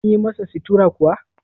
an yi masa sittura kuwa?